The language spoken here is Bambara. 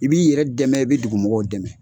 I b'i yɛrɛ dɛmɛ i bɛ dugu mɔgɔw dɛmɛ.